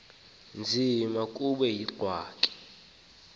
nzima kube yingxaki